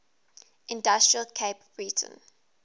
industrial cape breton